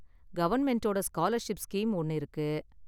கவர்ன்மெண்டோட scholarship scheme ஒன்னு இருக்கு.